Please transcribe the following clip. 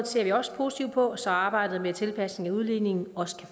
ser vi også positivt på så arbejdet med tilpasning af udligningen